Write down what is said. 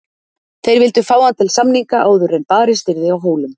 Þeir vildu fá hann til samninga áður en barist yrði á Hólum.